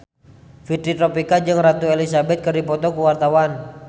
Fitri Tropika jeung Ratu Elizabeth keur dipoto ku wartawan